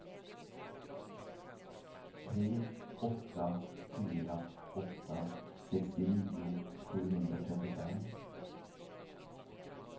tre åtta fyra åtta sextionio sjuhundratrettiofem